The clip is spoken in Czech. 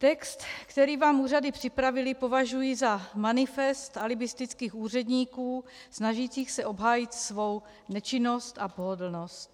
Text, který vám úřady připravily, považuji za manifest alibistických úředníků snažících se obhájit svou nečinnost a pohodlnost.